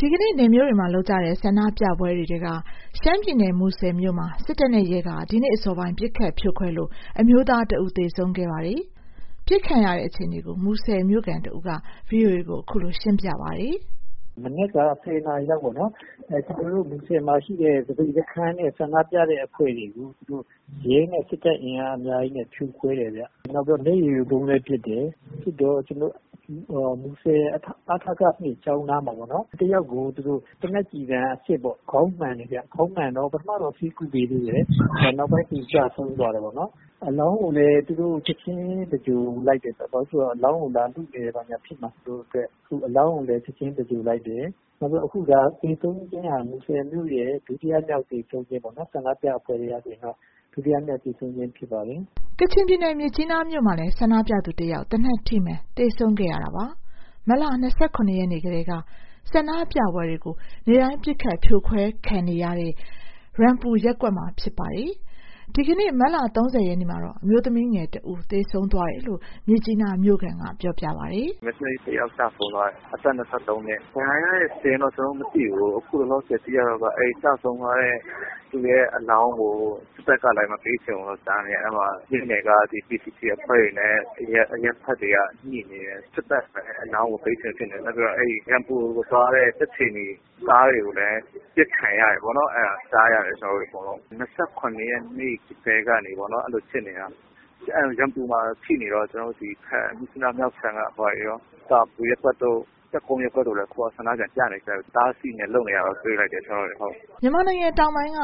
ဒီနေ့ နယ်မြို့တွေမှာ လုပ်ကြတဲ့ ဆန္ဒပြပွဲတွေထဲက ရှမ်းပြည်နယ် မူဆယ်မြို့မှာ စစ်တပ်နဲ့ရဲက ဒီနေ့အစောပိုင်း ပစ်ခတ် ဖြိုခွဲလို့ အမျိုးသား တဦး သေဆုံးခဲ့ပါတယ်။ ပစ်ခံရတဲ့ အခြေအနေကို မူဆယ် မြို့ခံ တဦးက ဗွီအိုအေကို အခုလိုပြောပါတယ်။ “မနက်က ၁၀ နာရီလောက်ပေါ့နော်။ ကျနော်တို့ မူဆယ်မှာရှိတဲ့ သပိတ်စခန်းနဲ့ ဆန္ဒပြတဲ့ အဖွဲ့တွေကို ရဲနဲ့ စစ်တပ် အင်အားအများကြီးနဲ့ ဖြိုခွဲတယ်ခင်ဗျ။ မျက်ရည်ယိုဗုံးလည်းပစ်တယ်။ ပစ်တော့ မူဆယ် အ.ထ.က ၂ ကျောင်းနားမှာပေါ့နော်။ တယောက်ကို သေနတ်ကျည်ဆံအစစ် ခေါင်းမှန်တယ်။ ခေါင်းမှန်တော့ ပထမတော့ ဆေးကုပေးသေးတယ်။ နောက်တော့ ကျဆုံးသွားတယ်။ အလောင်းကိုလည်း သူတို့ ချက်ချင်း သဂြိၤုလ်လိုက်တယ်။ ဘာလို့လဲဆိုတော့ အလောင်းကို လာလုတယ်၊ ဘာညာဖြစ်မှာ ဆိုးတဲ့အတွက် အလောင်းကို ချက်ချင်း သဂြိၤုလ်လိုက်တယ်။ အခုဟာ သေဆုံးခြင်းဟာ မူဆယ်မြို့ရဲ့ ဒုတိယမြောက်သေဆုံးခြင်းပေါ့၊ ဆန္ဒပြအဖွဲ့ထဲကဆိုရင် ဒုတိယမြောက်သေဆုံးခြင်းပေါ့။” ကချင်ပြည်နယ် မြစ်ကြီးနားမြို့မှာလည်း ဆန္ဒပြသူတယောက် သေနတ်ထိမှန် သေဆုံးခဲ့ပါတယ်။ မတ်လ ၂၇ ရက်နေ့ကတည်းက ဆန္ဒပြပွဲတွေကို နေ့တိုင်း ပစ်ခတ် ဖြိုခွဲခံနေရတဲ့ ရမ်ပူရပ်ကွက်မှာ ဖြစ်ပါတယ်။ ဒီကနေ့ မတ်လ ၃၀ ရက်နေ့မှာတော့ အမျိုးသမီးငယ် တဦးသေဆုံးသွားတယ်လို့ မြစ်ကြီးနားမြို့ခံ တဦးက ပြောပါတယ်။ “မိန်းကလေး တယောက်ကျဆုံးသွားတယ်။ အသက် ၂၃ နှစ် ဒဏ်ရာရတဲ့ စာရင်းတော့ ကျနော်တို့ မသိသေးဘူး။ အခုသိရသလောက်က ကျဆုံးသွားတဲ့သူရဲ့ အလောင်းကို စစ်တပ်ကလဲ မပေးချင်ဘူးလို့ ကြားတယ်။ အဲ့မြို့နယ်က PCG အဖွဲ့တွေနဲ့ အရပ်ဘက်တွေကညှိနေတယ်။ စစ်တပ်ကလည်း မပေးချင်ဘူး ဖြစ်နေတယ်။ နောက်ပြီး ရမ်ပူကိုသွားတဲ့ ကြက်ခြေနီ ကားတွေကိုလည်း ပစ်ခံရတယ်ပေါ့နော်။ အဲ့ဒါလည်း ကြားတယ်။ တပ်မတော်က ၂၇ ရက်နေ့ကလည်းက ဖြစ်နေတာ ရမ်ပူကို ဖိနေတော့ မြစ်ကြီးနား မြောက်ခြမ်းက စီတာပူရပ်ကွက်တို့ ၁၃ ရပ်ကွက်တို့ကလည်း ဆန္ဒပြန်ပြနေကြပြီ အတားအဆီးတွေနဲ့ လုပ်နေတာတော့ တွေ့လိုက်တယ်။” မြန်မာနိုင်ငံတောင်ပိုင်းက